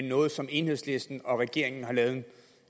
noget som enhedslisten og regeringen har lavet